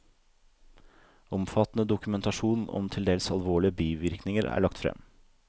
Omfattende dokumentasjon om til dels alvorlige bivirkninger er lagt frem.